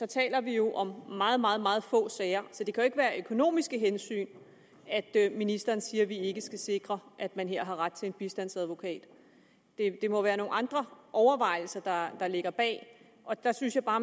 taler vi jo om meget meget meget få sager så det kan jo ikke være af økonomiske hensyn at ministeren siger at vi ikke skal sikre at man her har ret til en bistandsadvokat det må være nogle andre overvejelser der ligger bag og der synes jeg bare